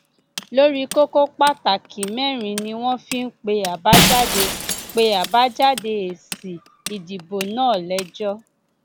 lórí kókó pàtàkì mẹrin ni wọn fi ń pe àbájáde pe àbájáde èsì ìdìbò náà lẹjọ